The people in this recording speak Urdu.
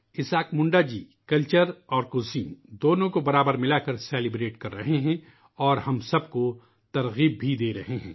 اسحاق منڈا جی کلچر اور کھانوں دونوں کو برابر ملاکر جشن منا رہے ہیں اور ہم سب کو تحریک بھی دے رہے ہیں